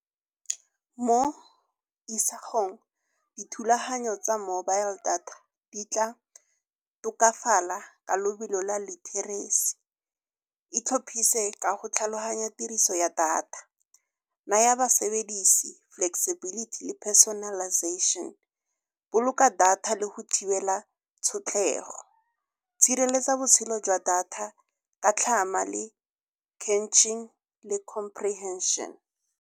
Mo isagong dithulaganyo tsa mobile data di tla tokafala ka lobelo la literacy. Itlhopise ka go tlhaloganya tiriso ya data, naya basebedise flexibility le personalization, boloka data le go thibela tshotlhego, tshireletsa botshelo jwa data ka tlhama le clenching le comprehension.